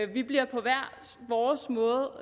vi bliver på hver vores måde